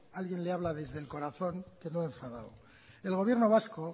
alguien le habla desde el corazón que no enfadado el gobierno vasco